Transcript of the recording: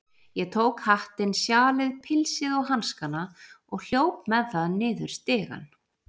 Ég tók hattinn, sjalið, pilsið og hanskana og hljóp með það niður stigann.